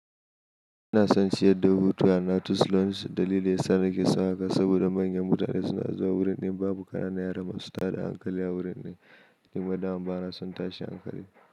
Ina son ciyar da hutu a na Tusloins dalili yasa nake son haka saboda manyan mutane suna zuwa wurin din babu ƙananan yara masu tada hankali a wurin din. Nima daman bana son tashin hankali.